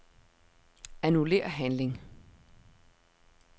Annullér handling.